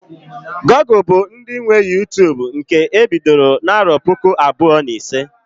Google bụ ndị nwe Uytubu nke e bidoro na puku abụọ na ise